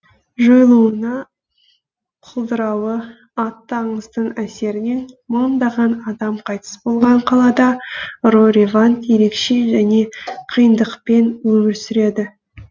жойылуына құлдырауы атты аңыздың әсерінен мыңдаған адам қайтыс болған қалада рой ревант ерекше және қиындықпен өмір сүреді